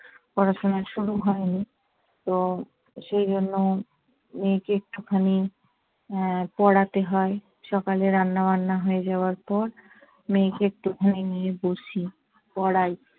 পড়াশোনা শুরু হয়নি। তো সেজন্য মেয়েকে একটুখানি আহ পড়াতে হয়। সকালে রান্নাবান্না হয়ে যাওয়ার পর মেয়েকে একটুখানি নিয়ে বসি, পড়াই।